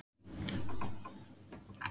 Hugarrósemin er meiri en áður.